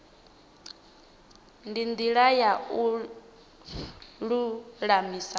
ndi ndila ya u lulamisa